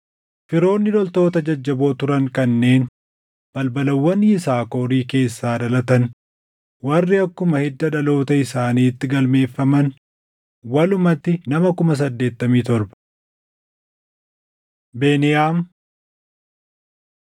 Firoonni loltoota jajjaboo turan kanneen balbalawwan Yisaakorii keessaa dhalatan warri akkuma hidda dhaloota isaaniitti galmeeffaman walumatti nama 87,000: Beniyaam